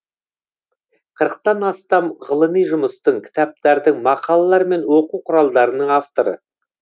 қырықтан астам ғылыми жұмыстың кітаптардың мақалалар мен оқу құралдарының авторы